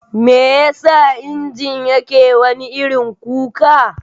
Meyasa injin yake wani irin kuka?